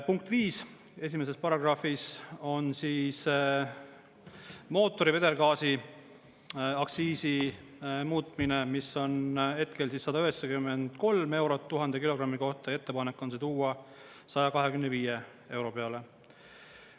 Punkt viis 1. paragrahvis on mootori vedelgaasi aktsiisi muutmine, mis on hetkel 193 eurot 1000 kilogrammi kohta ja ettepanek on see tuua 125 euro peale.